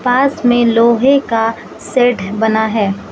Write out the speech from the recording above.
पास में लोहे का शेड बना है।